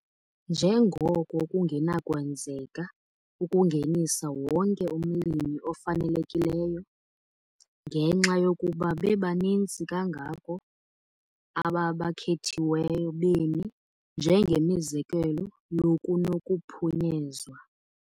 Njengoko kungenakwenzeka ukungenisa wonke umlimi ofanelekileyo, ngenxa yokuba bebaninzi kangako, aba bakhethiweyo bemi njengemizekelo yokunokuphunyezwa.